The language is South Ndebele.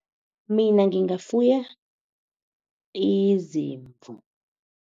Mina ngingafuya izimvu.